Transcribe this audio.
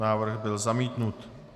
Návrh byl zamítnut.